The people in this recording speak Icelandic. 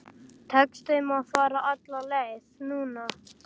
Tekst þeim að fara alla leið núna?